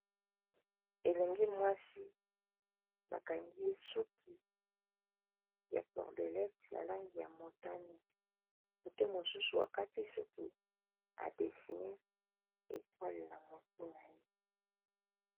elengi mwasi bakangi suki ya cordelete na langi ya motane oyo mosusu akati suki ba desiner etwale na mutu na ye.